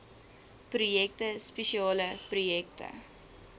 projekte spesiale projekte